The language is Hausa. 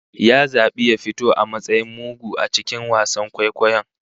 Ya zabi ya fito a matsayin mugu a cikin wasan kwaikwayon